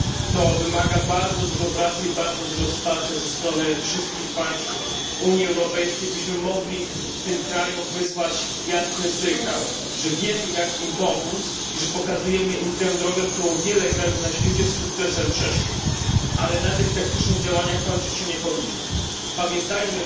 To wymaga bardzo dużo pracy i bardzo dużo wsparcia ze strony wszystkich państw Unii Europejskiej, byśmy mogli wysłać tym krajom jasny sygnał, że wiemy, jak im pomóc i że pokazujemy im drogę, którą wiele krajów na świecie z sukcesem przeszło. Ale na tych taktycznych działaniach nie powinno się kończyć.